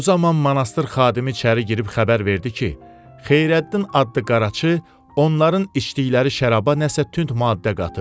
Bu zaman monastır xadimi içəri girib xəbər verdi ki, Xeyrəddin adlı qaraçı onların içdikləri şəraba nəsə tünd maddə qatıb.